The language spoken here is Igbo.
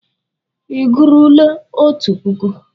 Ị gụruole otu puku?